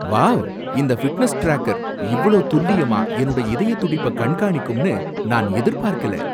Wow! இந்த fitness tracker இவ்ளோ துல்லியமா என்னோட இதயத் துடிப்ப கண்காணிக்கும்னு நான் எதிர்பார்க்கல.